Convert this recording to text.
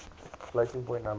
floating point numbers